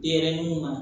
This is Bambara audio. Denɲɛrɛninw ma